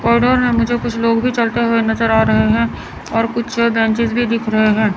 में मुझे कुछ लोग भी चलते हुए नज़र आ रहे है और कुछ बेंचेज भी दिख रहे है।